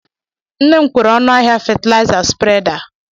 Nne m kwere ọnụ ahịa fatalaịza spreda.